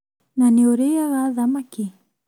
Na nĩ ũrĩaga thamaki?